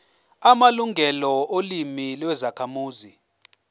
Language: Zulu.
amalungelo olimi lwezakhamuzi